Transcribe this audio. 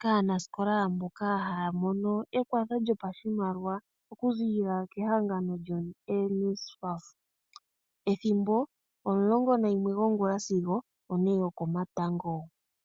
kaanasikola mboka haya mono ekwatho lyopashimaliwa okuziilila kehangano lyoNSFAF. Ethimbo, omulongo nayimwe gwongula sigo one yokomatango.